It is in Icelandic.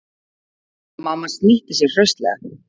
Mamma snýtti sér hraustlega.